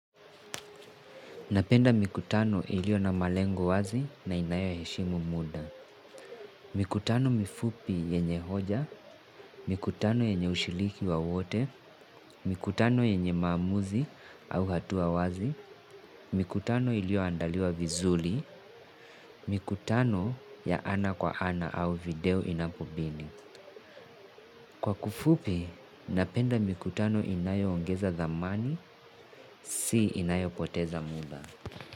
Napenda mikutano ilio na malengo wazi na inayo heshimu muda. Mikutano mifupi yenye hoja, mikutano yenye ushiriki wa wote, mikutano yenye maamuzi au hatua wazi, mikutano ilio andaliwa vizuri, mikutano ya ana kwa ana au video inapobidi. Kwa kufupi, napenda mikutano inayo ongeza zamani, si inayo poteza muda.